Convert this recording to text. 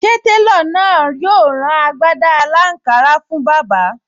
Ṣé télọ̀ náà yóò rán agbádá aláǹkárá fún bàbá?